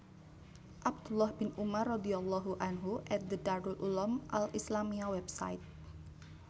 Abdullah bin Umar radhiyallahu anhu at The Darul Uloom Al Islamiyya Website